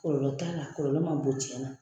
Kɔlɔlɔ t'a la kɔlɔlɔ man bon tiɲɛna.